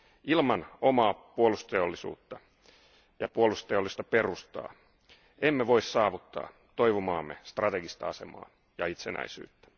Ilman omaa puolustusteollisuutta ja puolustusteollista perustaa emme voi saavuttaa toivomaamme strategista asemaa ja itsenäisyyttä.